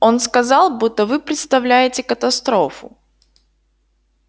он сказал будто вы представляете катастрофу